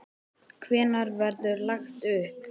Hvenær verður lagt upp?